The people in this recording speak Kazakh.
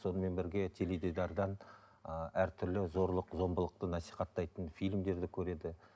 сонымен бірге теледидардан ыыы әртүрлі зорлық зомбылықты насихаттайтын фильмдерді көреді